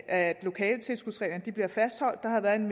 at lokaletilskudsreglerne bliver fastholdt der har været